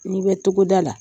N'i bɛ togoda la,